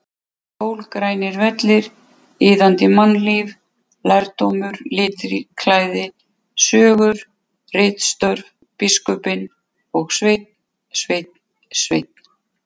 Sól, grænir vellir, iðandi mannlíf, lærdómur, litklæði, sögur, ritstörf, biskupinn og Sveinn, Sveinn, Sveinn!!!